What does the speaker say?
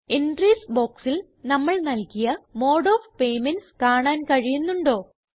entries ബോക്സിൽ നമ്മൾ നല്കിയ മോഡ് ഓഫ് പേയ്മെന്റ്സ് കാണാൻ കഴിയുന്നുണ്ടോ